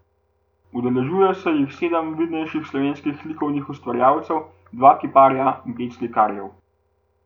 Udeležuje se jim sedem vidnejših slovenskih likovnih ustvarjalcev, dva kiparja in pet slikarjev.